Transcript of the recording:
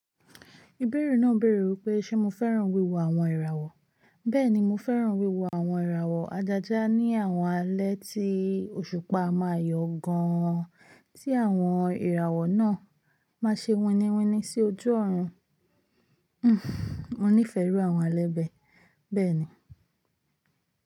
Ìbẹ̀rẹ̀ náà béèrè wípé Ṣé mo fẹ́ràn wíwo àwọn ìràwọ̀? Bẹ́ẹ̀ni mo fẹ́ràn wíwo àwọn ìràwọ̀ ajaja ní àwọn alẹ́ tí òṣùpá ma yọ gan-an tí àwọn ìràwọ̀ náà ma ṣe winiwini sí ojú ọ̀run. Hhn, mo nífẹ̀ẹ́ àwọn alẹ́ bẹ́, bẹ́ẹ̀ ni.